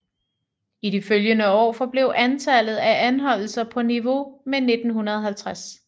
I de følgende år forblev antallet af anholdelser på niveau med 1950